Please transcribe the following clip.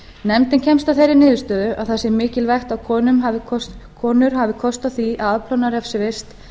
nefndin kemst að þeirri niðurstöðu að það sé mikilvægt að konur hafi kost á því að afplána refsivist